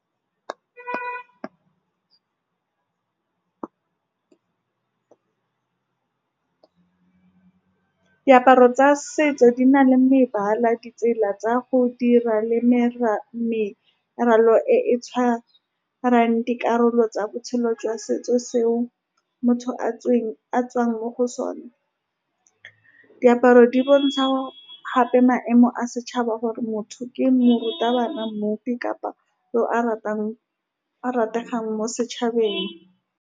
Ka diaparo tsa setso, di na le mebala, ditsela tsa go dira le meralo e e tshwarang dikarolo tsa botshelo jwa setso seo motho a tsweng, a tswang mo go sone. Diaparo di bontsha gape maemo a setšhaba, gore motho ke morutabana, mmupi kapa yo a ratang, a rategang mo setšhabeng.